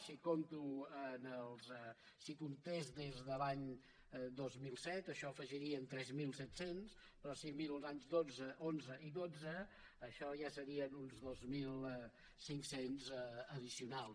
si comptés des de l’any dos mil set això n’afegiria tres mil set cents però si miro els anys onze i dotze això ja serien uns dos mil cinc cents d’addicionals